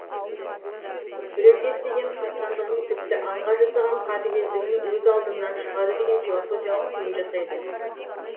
біреуге істеген қастандығың тіпті аңға жасаған қатыгездігің өз алдыңнан шығады деген философиялық түйін жасайды